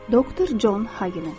Doktor Con Hagen.